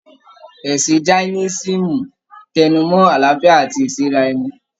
Ẹ̀sìn Jaínísìm n tẹnu mọ́ àlàáfíà àti ìsẹ́ra ẹni.